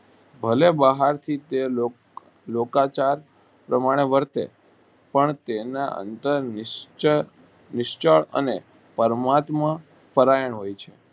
ભલે લોકો બહાર થી લોકો ચાર તે પરાણે વર્તે પણ તેને અંદર નિસ્ત અને પરમાત્મા પરાયા હોય છે.